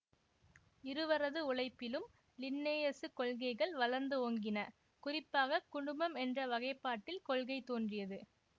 இருவரது உழைப்பிலும் லின்னேயசு கொள்கைகள் வளர்ந்து ஓங்கின குறிப்பாக குடும்பம் என்ற வகைப்பாட்டியல் கொள்கை தோன்றியது